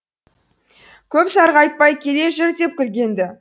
көп сарғайтпай келе жүр деп күлген ді